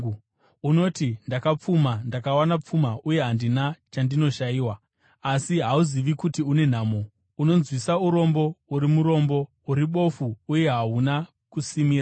Unoti, ‘Ndakapfuma; ndakawana pfuma uye handina chandinoshayiwa.’ Asi hauzivi kuti une nhamo, unonzwisa urombo, uri murombo, uri bofu uye hauna kusimira.